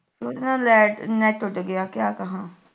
ਉਧੇ ਨਾਲ light net ਉੱਡ ਗਿਆ ਕਯਾ ਕਹਾਂ